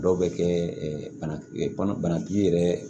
Dɔw bɛ kɛ bana banakisɛ yɛrɛ